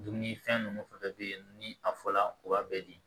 Dumunifɛn nun fɛn fɛn bɛ yen ni a fɔla u b'a bɛɛ di